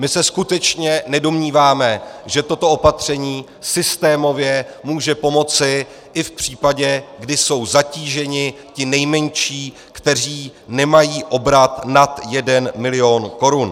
My se skutečně nedomníváme, že toto opatření systémově může pomoci i v případě, kdy jsou zatíženi ti nejmenší, kteří nemají obrat nad jeden milion korun.